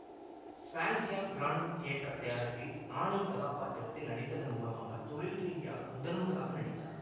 Swansea grand theatre தயாரிப்பில் Annie கதாப்பாத்திரத்தில் நடித்ததன் மூலமாக தொழில்ரீதியாக முதன்முதலாக நடித்தார்